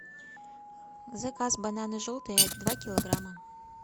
заказ бананы желтые два килограмма